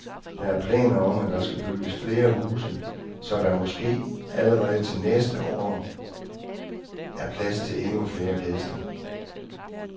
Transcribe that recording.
Der er planer om, at der skal bygges flere huse, så der måske allerede til næste år er plads til endnu flere gæster.